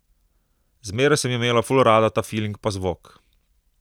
Zmeraj sem imela ful rada ta filing pa zvok.